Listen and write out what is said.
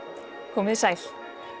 komið þið sæl